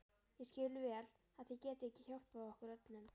Ég skil vel að þið getið ekki hjálpað okkur öllum.